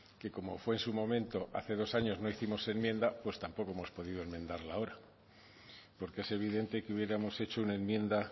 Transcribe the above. que como fue en su momento hace dos años no hicimos enmiendas pues tampoco hemos podido enmendarla ahora porque es evidente que hubiéramos hecho una enmienda